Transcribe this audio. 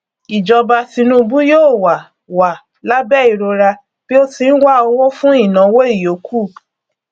ìjọba tinúbú yóò wà wà lábẹ ìrora bí ó ti ń wá owó fún ìnáwó ìyókù